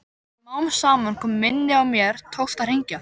Smám saman kom minnið og mér tókst að hringja.